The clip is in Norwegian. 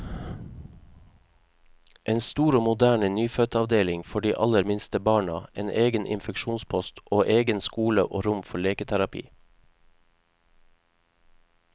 En stor og moderne nyfødtavdeling for de aller minste barna, en egen infeksjonspost, og egen skole og rom for leketerapi.